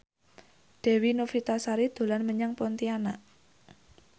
Dewi Novitasari dolan menyang Pontianak